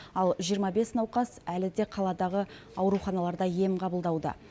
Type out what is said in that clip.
ал жиырма бес науқас әлі де қаладағы ауруханаларда ем қабылдауда